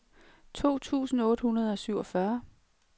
to tusind otte hundrede og syvogfyrre